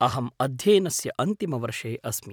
अहम् अध्ययनस्य अन्तिमवर्षे अस्मि।